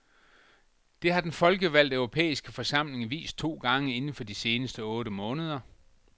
Det har den folkevalgte europæiske forsamling vist to gange inden for de seneste otte måneder.